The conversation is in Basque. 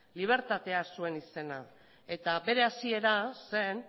libertatea zuen izena eta bere hasiera zen